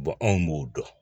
anw b'o dɔn